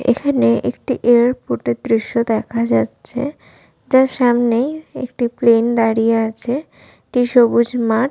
এখানে একটি এয়ারপোর্টে দৃশ্য দেখা যাচ্ছে যার সামনে একটি প্লেন দাঁড়িয়ে আছে একটি সবুজ মাঠ--